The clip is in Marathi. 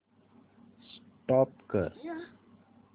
स्टॉप करा